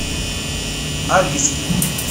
алиски